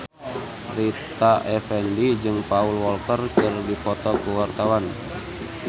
Rita Effendy jeung Paul Walker keur dipoto ku wartawan